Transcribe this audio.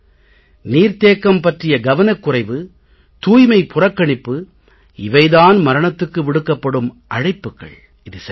நீர் தேக்கம் பற்றிய கவனக் குறைவு தூய்மை புறக்கணிப்பு இவை தான் மரணத்துக்கு விடுக்கப்படும் அழைப்புக்கள் இது சரியல்ல